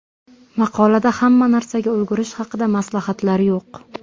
Maqolada hamma narsaga ulgurish haqida maslahatlar yo‘q.